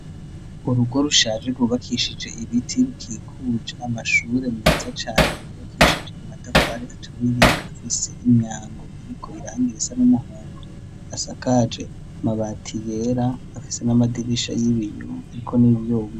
Urugo rushaje rubakishije ibiti rukikuja amashure meza cane yubakishije imatafare aturiye afise imyango iriko irangira isa n'umuhundo asakaje mabati yera afise n'amadirisha y'ibinyu, ariko niyonwo.